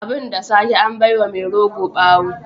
Abin da sake an bai wa mai rogo bawo.